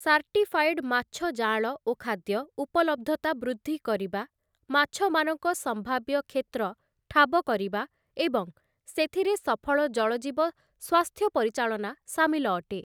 Certified ମାଛ ଜାଆଁଳ ଓ ଖାଦ୍ୟ, ଉପଲବ୍ଧତା ବୃଦ୍ଧି କରିବା, ମାଛମାନଙ୍କ ସମ୍ଭାବ୍ୟ କ୍ଷେତ୍ର ଠାବ କରିବା ଏବଂ ସେଥିରେ ସଫଳ ଜଳଜୀବ ସ୍ୱାସ୍ଥ୍ୟ ପରିଚାଳନା ସାମିଲ ଅଟେ ।